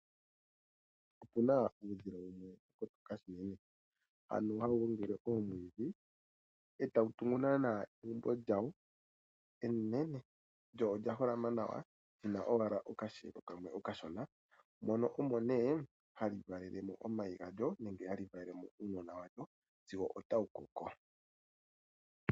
Opuna uudhila wumwe kombanda yevi ano hawu gongele oomwiidhi, e tawu tungu naana egumbo lyawo enene. Lyo olya holama nawa lina owala okahelo kamwe okashona. Mono omo nee hali valele mo omayi galyo, nenge hali valele mo uunona walyo sigo otawu koko.